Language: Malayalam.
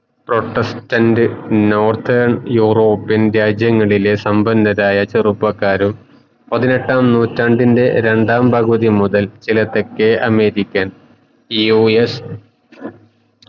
protestant Northern Europian രാജ്യങ്ങളിലെ സമ്പന്നരായ ചെറുപ്പക്കാരും പതിനെട്ടാം നൂറ്റാണ്ടിൻറെ രണ്ടാം പകുതി മുതൽ ചില തെക്കേ അമേരിക്കൻ